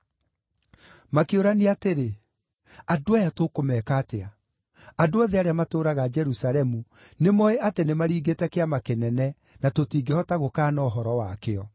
Makĩũrania atĩrĩ, “Andũ aya tũkũmeeka atĩa? Andũ othe arĩa matũũraga Jerusalemu nĩmooĩ atĩ nĩmaringĩte kĩama kĩnene na tũtingĩhota gũkaana ũhoro wakĩo.